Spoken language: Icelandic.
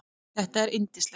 Þetta er yndislegt